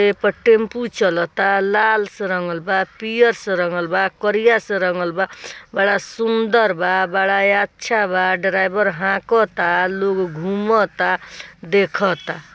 एक टैंपू चलता लाल से रंगेल बा पीयल से रंगेला बा करियल से रंगेला बा बड़ा सुंदर बा बड़ा अच्छा बा ड्राइवर लोग घूमता देखा था।